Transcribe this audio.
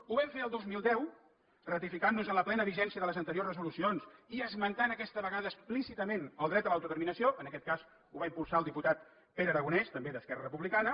ho vam fer el dos mil deu ratificant nos en la plena vigència de les anteriors resolucions i esmentant aquesta vegada explícitament el dret a l’autodeterminació en aquest cas ho va impulsar el diputat pere aragonès també d’esquerra republicana